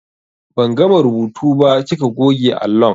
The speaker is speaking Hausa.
Ban gama rubutu ba kika goge allon.